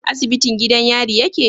Asibitin gidan yari yake?